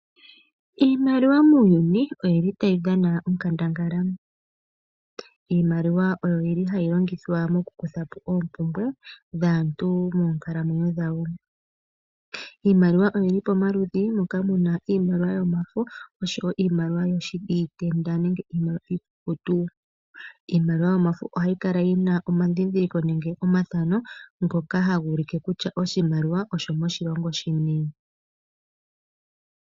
Iimaliwa muuyuni otayi dhana onkandangala. Iimaliwa oyo hayi longithwa moku kutha po oompumbwe dhaantu moonkalamwenyo dhawo. Iimaliwa oyi li pamaludhi moka mu na iimaliwa yomafo noshowo iimaliwa iikukutu. Iimaliwa yomafo ohayi kala yi na omadhindhiliko nenge omafano ngoka haga ulike kutya oshimaliwa oshomoshilongo shini.